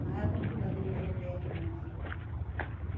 Não é com tudo aqueles remédio, não.